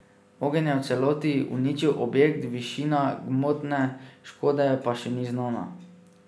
Ogenj je v celoti uničil objekt, višina gmotne škode pa še ni znana.